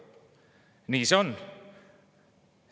Nii see praegu on.